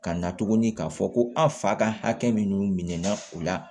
Ka na tuguni k'a fɔ ko an fa ka hakɛ min min na o la